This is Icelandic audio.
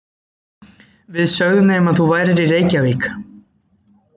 Við sögðum þeim að þú værir í Reykjavík.